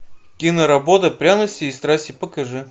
киноработа пряности и страсти покажи